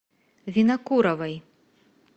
винокуровой